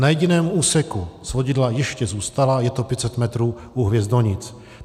Na jediném úseku svodidla ještě zůstala, je to 500 metrů u Hvězdonic.